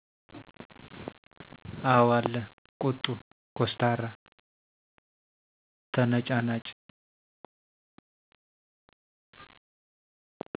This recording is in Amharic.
አው አለ ቁጡ፣ ኮስታራ፣ ተነጫናጭ